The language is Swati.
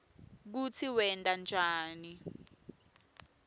kutsi wenta njani